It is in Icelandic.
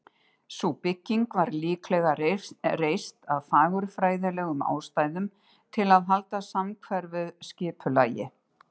Sú bygging var líklega reist af fagurfræðilegum ástæðum, til að halda samhverfu skipulagi.